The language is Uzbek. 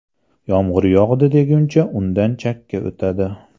Yomg‘ir yog‘di deguncha undan chakka o‘tadi.